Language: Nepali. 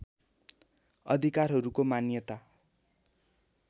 अधिकारहरूको मान्यता